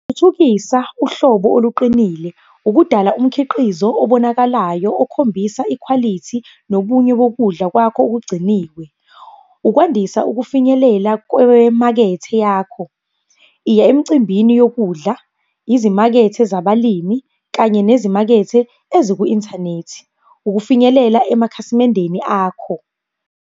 Thuthukisa uhlobo oluqinile, ukudala umkhiqizo obonakalayo okhombisa ikhwalithi nobunye bokudla kwakho okugciniwe. Ukwandisa ukufinyelela kwemakethe yakho. Iya emcimbini yokudla, izimakethe zabalimi kanye nezimakethe eziku-inthanethi. Ukufinyelela emakhasimendeni akho.